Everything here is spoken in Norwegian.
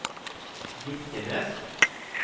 Birkenes